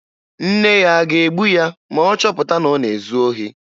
Nne ya a ga-egbu ya ma ọ chọpụta na ọ na-ezu ohi?